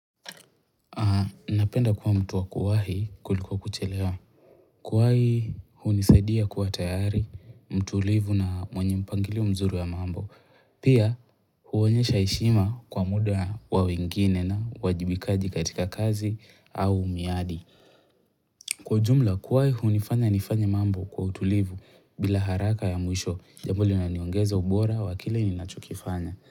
Napenda kuwa mtu wa kuwahi kuliko kuchelewa. Kuwahi hunisadia kuwa tayari, mtulivu na mwenye mpangilio mzuri wa mambo. Pia huonyesha heshima kwa muda wa wengine na uwajibikaji katika kazi au miadi. Kwa ujumla kuwahi hunifanya nifanye mambo kwa utulivu bila haraka ya mwisho. Jambo linaniongeza ubora wa kile ninachokifanya.